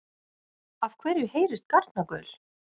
Af hverju heyrist garnagaul?